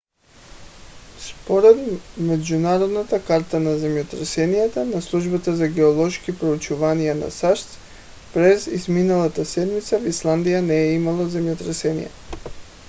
според международната карта на земетресенията на службата за геоложки проучвания на сащ през изминалата седмица в исландия не е имало земетресения